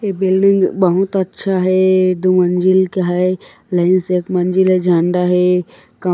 ए building बहुत अच्छा हे दु मंजिल का हैं लही सक मंजिल म झण्डा हैं का--